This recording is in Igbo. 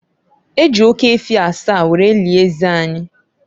E ji oke efi asaa were lie eze anyị.